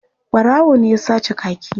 Ɓarawo ne ya sace kaki.